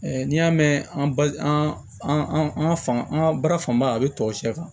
n'i y'a mɛn an ba an an ka an ka baara fanba a bɛ tɔw sɛfan